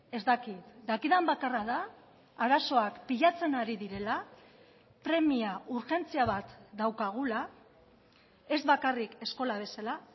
ez dakit dakidan bakarra da arazoak pilatzen ari direla premia urgentzia bat daukagula ez bakarrik eskola bezala